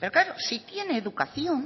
pero claro si tiene educación